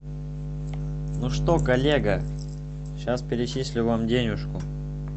ну что коллега сейчас перечислю вам денежку